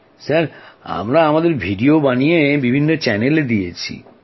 মহাশয় আমরা আমাদের ভিডিও বানিয়ে বিভিন্ন চ্যানেলে দিয়েছি